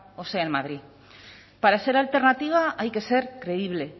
o sea en madrid para ser alternativa hay que ser creíble